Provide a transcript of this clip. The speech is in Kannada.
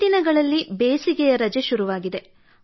ಈ ದಿನಗಳಲ್ಲಿ ಬೇಸಿಗೆಯ ರಜೆ ಶುರುವಾಗಿದೆ